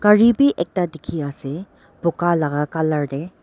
gare bei ek da teke ase buka laka colour de.